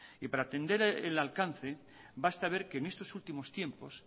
y para entender el alcance basta ver que en estos últimos tiempos